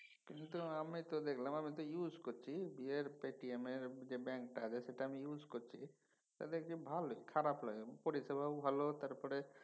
কিন্তু আমি তো দেখলাম এমই তো use করছি পেটিএম এর যে ব্যাঙ্কটা আছে সেটা আমি use করছি তা দেখছি ভালই খারাপ লাগেনি। পরিষেবাও ভালো তারপরে